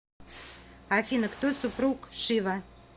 афина кто супруг шива